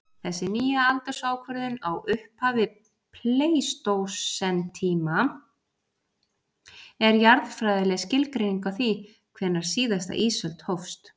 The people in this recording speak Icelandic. Þessi nýja aldursákvörðun á upphafi pleistósentíma er jarðfræðileg skilgreining á því hvenær síðasta ísöld hófst.